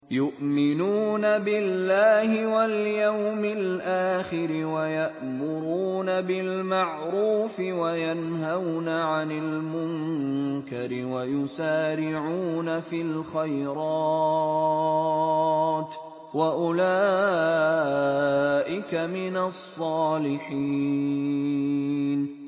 يُؤْمِنُونَ بِاللَّهِ وَالْيَوْمِ الْآخِرِ وَيَأْمُرُونَ بِالْمَعْرُوفِ وَيَنْهَوْنَ عَنِ الْمُنكَرِ وَيُسَارِعُونَ فِي الْخَيْرَاتِ وَأُولَٰئِكَ مِنَ الصَّالِحِينَ